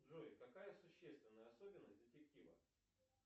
джой какая существенная особенность детектива